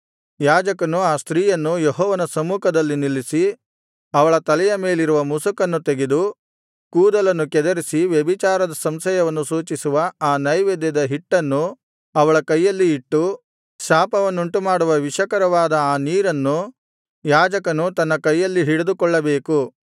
ಯಾಜಕನು ಆ ಸ್ತ್ರೀಯನ್ನು ಯೆಹೋವನ ಸಮ್ಮುಖದಲ್ಲಿ ನಿಲ್ಲಿಸಿ ಅವಳ ತಲೆಯ ಮೇಲಿರುವ ಮುಸುಕನ್ನು ತೆಗೆದು ಕೂದಲನ್ನು ಕೆದರಿಸಿ ವ್ಯಭಿಚಾರದ ಸಂಶಯವನ್ನು ಸೂಚಿಸುವ ಆ ನೈವೇದ್ಯದ ಹಿಟ್ಟನ್ನು ಅವಳ ಕೈಯಲ್ಲಿ ಇಟ್ಟು ಶಾಪವನ್ನುಂಟುಮಾಡುವ ವಿಷಕರವಾದ ಆ ನೀರನ್ನು ಯಾಜಕನು ತನ್ನ ಕೈಯಲ್ಲಿ ಹಿಡಿದುಕೊಳ್ಳಬೇಕು